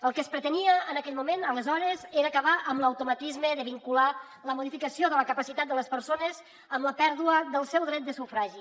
el que es pretenia en aquell moment aleshores era acabar amb l’automatisme de vincular la modificació de la capacitat de les persones amb la pèrdua del seu dret de sufragi